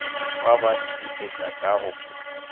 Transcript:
dikgwa ba netefaditše ka go